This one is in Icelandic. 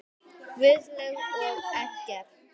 Guðlaug og Eggert.